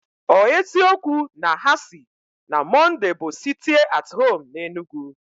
O eziokwu na hasi na Mọnday bu sitie at home na Enugu?